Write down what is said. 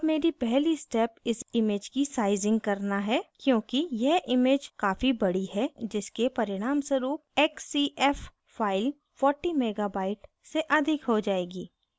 अब मेरी पहली step इस image की sizing करना है क्योंकि यह image काफ़ी बड़ी है जिसके परिणामस्वरूप xcf फ़ाइल 40 mega bytes से अधिक हो जाएगी